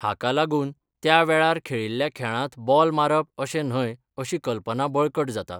हाका लागून त्या वेळार खेळिल्ल्या खेळांत बॉल मारप अशें न्हय अशी कल्पना बळकट जाता.